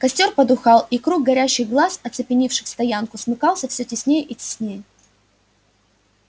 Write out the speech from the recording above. костёр потухал и круг горящих глаз оцепивших стоянку смыкался все теснее и теснее